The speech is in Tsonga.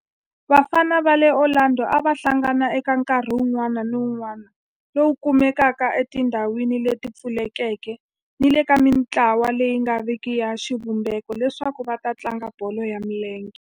Vafana va le Orlando a va hlangana eka nkarhi wun'wana ni wun'wana lowu kumekaka etindhawini leti pfulekeke ni le ka mintlawa leyi nga riki ya xivumbeko leswaku va tlanga bolo ya milenge.